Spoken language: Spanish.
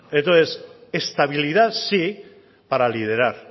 entonces estabilidad sí para liderar